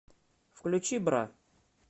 включи бра